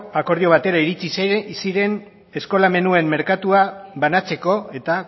akordio batera iritsi ziren eskola menuen merkatua banatzeko eta